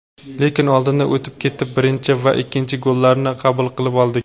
Lekin oldinga o‘tib ketib birinchi va ikkinchi gollarni qabul qilib oldik.